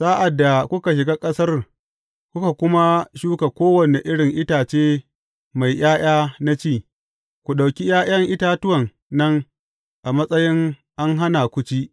Sa’ad da kuka shiga ƙasar kuka kuma shuka kowane irin itace mai ’ya’ya na ci, ku ɗauki ’ya’yan itatuwan nan a matsayi an hana ku ci.